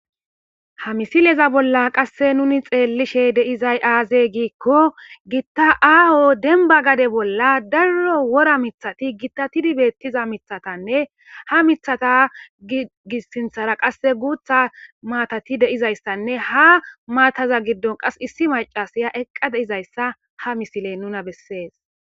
ha misileza bolla qasse nuni xeellishe deizay aaze giikko gitta aaho denba gade bolla daro wora mithati gittatidi beettiza mithatanne ha mithata gissinthara qasse guutha maatati deizayssanne ha maataza giddon qas issi macasaya eqqa deizayssa ha misile nuna bessees